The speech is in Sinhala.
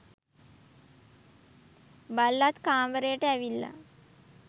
බල්ලත් කාමරයට ඇවිල්ලා